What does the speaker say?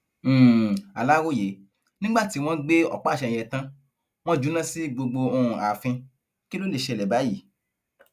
um aláròye nígbà tí wọn gbé ọpáàṣẹ yẹn tàn wọn júná sí gbogbo um ààfin kí ló lè ṣẹlẹ báyìí